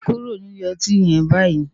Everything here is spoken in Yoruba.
Kúró ni ilé òtín yèn bàyí